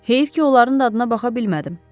Heyf ki, onların dadına baxa bilmədim.